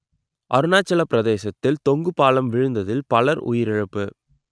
அருணாச்சலப் பிரதேசத்தில் தொங்கு பாலம் விழுந்ததில் பலர் உயிரிழப்பு